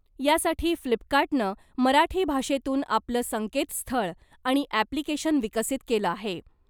यासाठी फ्लिपकार्टनं मराठी भाषेतून आपलं संकेतस्थळ आणि ॲप्लिकेशन विकसित केलं आहे .